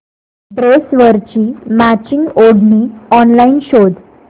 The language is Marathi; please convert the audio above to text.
ड्रेसवरची मॅचिंग ओढणी ऑनलाइन शोध